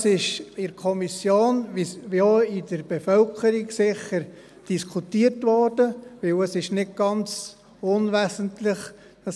Das wurde in der Kommission wie auch in der Bevölkerung sicher diskutiert, weil es nicht ganz unwesentlich ist.